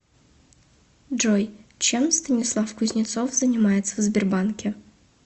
джой чем станислав кузнецов занимается в сбербанке